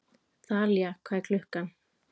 Þalía, hvað er klukkan?